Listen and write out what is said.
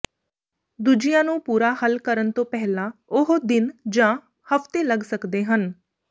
ਦੂਜਿਆਂ ਨੂੰ ਪੂਰਾ ਹੱਲ ਕਰਨ ਤੋਂ ਪਹਿਲਾਂ ਉਹ ਦਿਨ ਜਾਂ ਹਫ਼ਤੇ ਲੱਗ ਸਕਦੇ ਹਨ